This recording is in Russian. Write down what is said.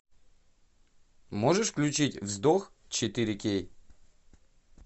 можешь включить вздох четыре кей